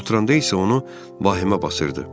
Oturanda isə onu vahimə basırdı.